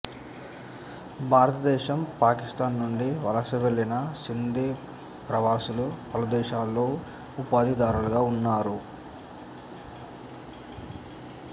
భారతదేశం పాకిస్తాను నుండి వలస వెళ్ళిన సింధీ ప్రవాసులు పలుదేశాలలో ఉపాధిదారులుగా ఉన్నారు